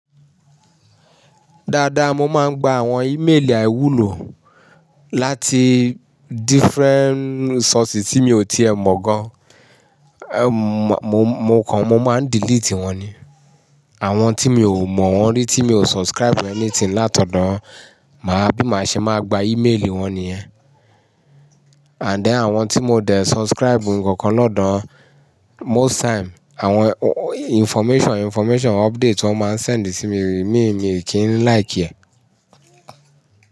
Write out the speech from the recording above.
Dáadáa mo máa ń gba àwọn ímélì àíwúlò láti different sources tí mi ò tíì ẹ mọ̀ gan. Mo kan mo máa ń delete wọ́n ni. Àwọn tí mi ò mọ̀ wọ́n rí, tí mi ò subscribe anything látọ̀dọ̀, máa bí má ṣe máa gba ímélì wọ́n nìyẹn. Àdẹ àwọn tí mo dẹ̀ subscribe nǹkan kan lọ́dọ̀, most time àwọn information information update wọ́n máa ń sẹǹ di sí mi, mi ò kí ń like ẹ.